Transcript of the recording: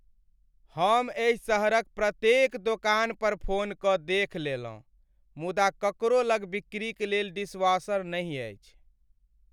हम एहि सहरक प्रत्येक दोकान पर फोन कऽ देखि लेलहुँ, मुदा ककरो लग बिक्रीक लेल डिशवॉशर नहि अछि।